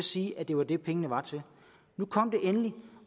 sige at det var det pengene var til nu kom det endelig